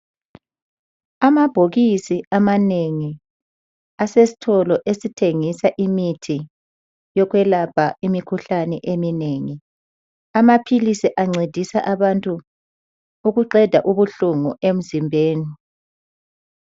Amabhokisi amanengi asesitolo esithengisa imithi yokwelapha imikhuhlane eminengi. Amaphilisi ancedisa abantu ukuqeda ubuhlungu emzimbeni.